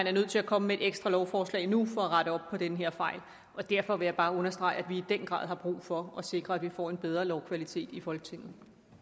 er nødt til at komme med et ekstra lovforslag nu for at rette op på den her fejl og derfor vil jeg bare understrege at vi i den grad har brug for at sikre at vi får en bedre lovkvalitet i folketinget